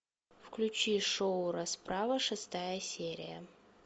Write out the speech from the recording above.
включи шоу расправа шестая серия